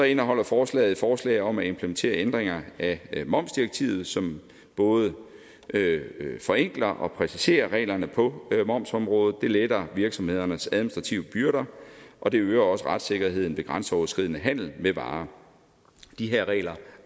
indeholder forslaget et forslag om at implementere ændringer af momsdirektivet som både forenkler og præciserer reglerne på momsområdet det letter virksomhedernes administrative byrder og det øger også retssikkerheden ved grænseoverskridende handel med varer de her regler